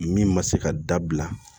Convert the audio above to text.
Min ma se ka dabila